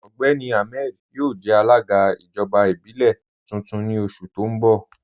Ọgbẹ́ni Ahmed yọo jẹ̀ alaga ijọba ibilẹ̀ tuntun ni oṣù ti n bọ̀.